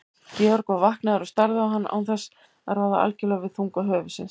Georg var vaknaður og starði á hann án þess að ráða algjörlega við þunga höfuðsins.